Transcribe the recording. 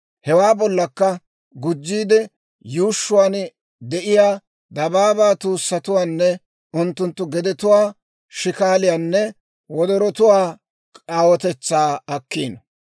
Hewaa bollakka gujjiide, yuushshuwaan de'iyaa dabaabaa tuussatuwaanne unttunttu gedetuwaa, shikaaliyaanne wodorotuwaa aawotetsaa akkiino.